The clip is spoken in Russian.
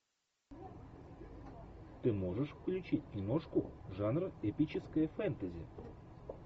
ты можешь включить киношку жанра эпическое фэнтези